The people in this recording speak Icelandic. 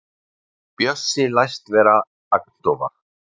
Bjössi læst vera agndofa.